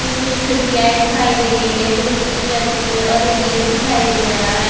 इसमें कुछ खिड़कीयाए दिखाई दे रही है जो मिट्टी कलर की है और एक गेट दिखाई दे रहा है।